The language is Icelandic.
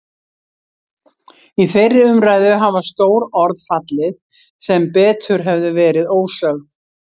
Í þeirri umræðu hafa stór orð fallið sem betur hefðu verið ósögð.